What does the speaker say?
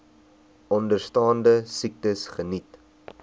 onderstaande siektes geniet